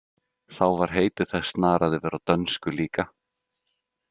Þá var heiti þess snarað yfir á dönsku líka.